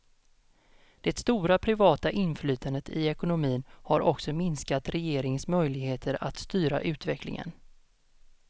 Det stora privata inflytandet i ekonomin har också minskat regeringens möjligheter att styra utvecklingen.